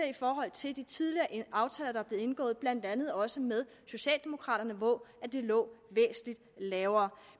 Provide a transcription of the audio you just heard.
i forhold til de tidligere aftaler der er blevet indgået blandt andet også med socialdemokraterne hvor det lå væsentlig lavere